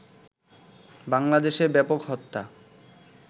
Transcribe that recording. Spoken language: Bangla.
বাংলাদেশে ব্যাপক হত্যা